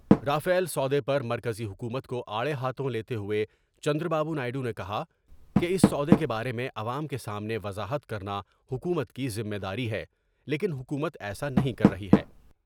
Rafale سودے پر مرکزی حکومت کو آڑے ہاتھوں لیتے ہوۓ چندرا بابو نائیڈو نے کہا کہ اس سودے کے بارے میں عوام کے سامنے وضاحت کر نا حکومت کی ذمے داری ہے لیکن حکومت ایسا نہیں کر رہی ہے ۔